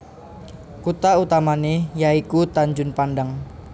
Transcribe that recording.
Kutha utamané yaiku Tanjung Pandan